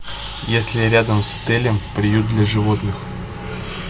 есть ли рядом с отелем приют для животных